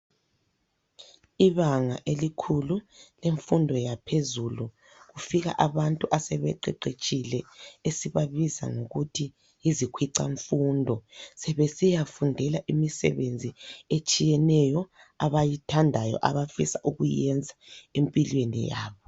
Ibanga elikhulu kumfundo yaphezulu. Kufika abantu asebeqeqetshile , esibabiza ngokuthi yizikhwicamfundo. Sebesiyafundela imisebenzi etshiyeneyo. Abayithandayo, abafisa ukuyenza, empilweni yabo.